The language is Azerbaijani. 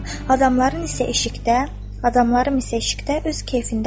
Adamlarım isə eşikdə, adamlarım isə eşikdə öz keyfindədir.